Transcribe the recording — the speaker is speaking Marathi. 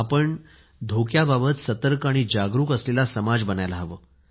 आपण धोक्याबाबत सतर्क आणि जागरूक असलेला समाज बनायला हवे